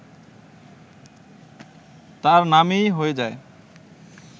তাঁর নামই হয়ে যায়